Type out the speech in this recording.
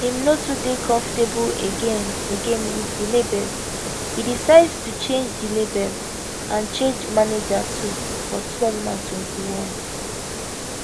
im no too dey comfortable again again wit di label e decide to change di label and change manager too for 2021